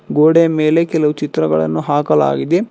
ಗೋಡೆ ಮೇಲೆ ಕೆಲವು ಚಿತ್ರಗಳನ್ನು ಹಾಕಲಾಗಿದೆ.